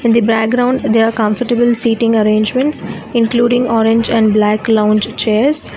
The background there are comfortable seating arrangements including orange and black lounge chairs.